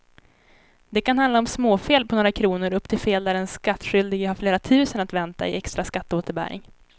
Det kan handla om småfel på några kronor upp till fel där den skattskyldige har flera tusen att vänta i extra skatteåterbäring.